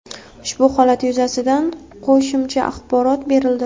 Ushbu holat yuzasidan qo‘shicha axborot berildi.